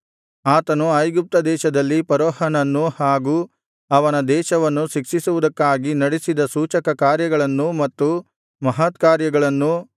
ಆತನು ಐಗುಪ್ತದೇಶದಲ್ಲಿ ಫರೋಹನನ್ನೂ ಹಾಗೂ ಅವನ ದೇಶವನ್ನೂ ಶಿಕ್ಷಿಸುವುದಕ್ಕಾಗಿ ನಡಿಸಿದ ಸೂಚಕಕಾರ್ಯಗಳನ್ನೂ ಮತ್ತು ಮಹತ್ಕಾರ್ಯಗಳನ್ನೂ